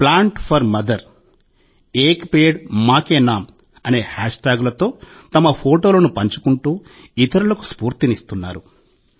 Plant4Mother एक पेड़ मां के नाम అనే హ్యాష్ ట్యాగులతో తమ ఫోటోలను పంచుకుంటూ ఇతరులకు స్ఫూర్తినిస్తున్నారు